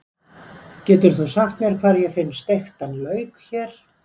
Getur þú sagt mér hvar ég finn steiktan lauk hér?